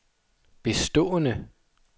bestående